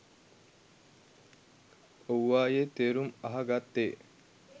ඔව්වායෙ තේරුම් අහ ගත්තෙ